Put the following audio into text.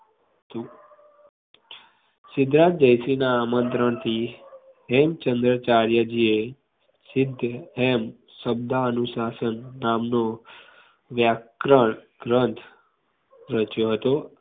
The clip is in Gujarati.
સિદ્ધરાજ જયસિંહના આમંત્રણ થી હેમચંદ્રાચાર્યજી એ સિદ્ધહેમ શબ્દ અનુશાસન નામનો વ્યાકરણ ગ્રંથ રચ્યો હતો